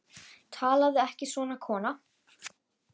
Talaðu ekki svona, kona!